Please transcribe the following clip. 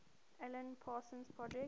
alan parsons project